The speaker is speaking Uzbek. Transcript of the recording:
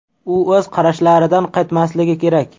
U o‘z qarashlaridan qaytmasligi kerak.